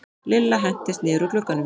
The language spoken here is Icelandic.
Lilla hentist niður úr glugganum.